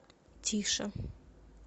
тише